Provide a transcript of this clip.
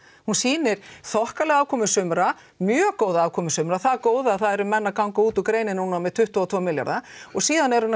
hún sýnir þokkalega afkomu sumra mjög góða afkomu sumra það góða að það eru menn að ganga út úr greininni með tuttugu og tvo milljarða og síðan er hún að